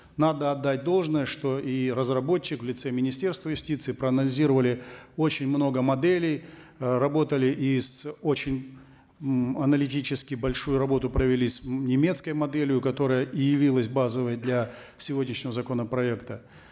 надо отдать должное что и разработчик в лице министерства юстиции проанализировали очень много моделей э работали и с очень м аналитически большую работу провели и с немецкой моделью которая и явилась базовой для сегодняшнего законопроекта